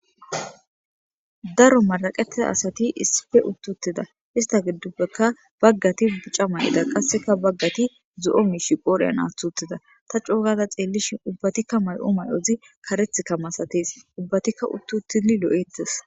Daro maraqetida asati issippe uti utida issita gidoppe bagati bicca mayida qase bagati zoo mishi qodhen athi utida ta coo gada xeliishin ubbatikka mayo myoyi karethi masatesi ubatikka uti utidi loeteesi